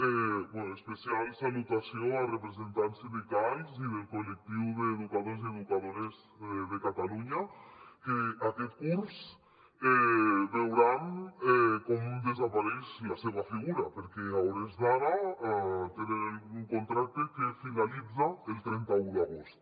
bé especial salutació als representants sindicals i del col·lectiu d’educadors i educadores de catalunya que aquest curs veuran com desapareix la seva figura perquè a hores d’ara tenen un contracte que finalitza el trenta un d’agost